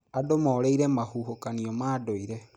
Andũ morĩire mahuhũkanio ma ndũire.